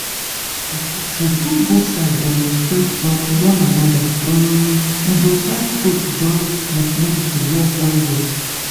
make i talk true if both side dem respect umm one anoda hmmm e dey help faith join with medicine work well well.